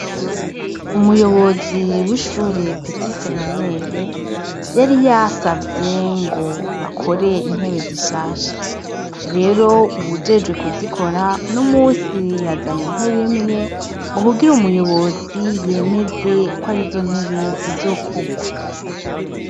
Umuyobozi w'ishure peti seminere, yari yasavye ngo bakore intebe zishasha, rero uwujejwe kuzikora uno umusi yazanye intebe imwe ngo kugira umuyobozi yemeze ko arizo ntebe zizokorwa.